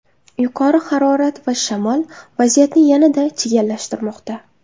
Yuqori harorat va shamol vaziyatni yanada chigallashtirmoqda.